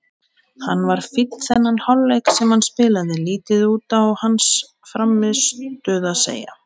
Hann var fínn þennan hálfleik sem hann spilaði, lítið út á hans frammistöðu að segja.